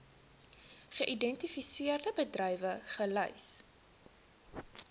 geïdentifiseerde bedrywe gelys